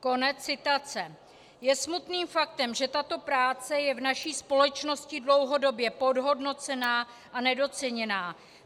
Je smutným faktem, že tato práce je v naší společnosti dlouhodobě podhodnocená a nedoceněná.